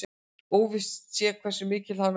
Óvíst sé hversu mikill hann verði